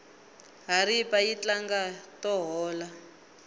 haripa yi tlanga to hola